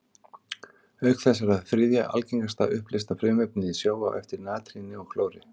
Auk þess er það þriðja algengasta uppleysta frumefnið í sjó, á eftir natríni og klóri.